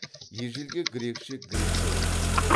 ежелгі грекше грек деп аталады